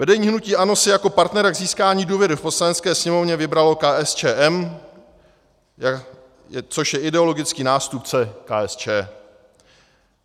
Vedení hnutí ANO si jako partnera k získání důvěry v Poslanecké sněmovně vybralo KSČM, což je ideologický nástupce KSČ.